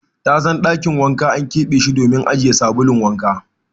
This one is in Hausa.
Tasan Dakin wanka an kebe she dimin ajiye sabulun wanka.